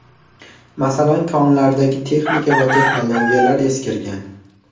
Masalan, konlardagi texnika va texnologiyalar eskirgan.